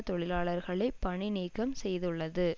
தொழிலாளர்களை பணி நீக்கம் செய்துள்ளது